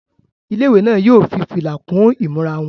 Ilé-ìwé náà yóò fi fìlà kún ìmúra wọn.